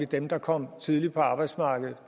dem der kom tidligt på arbejdsmarkedet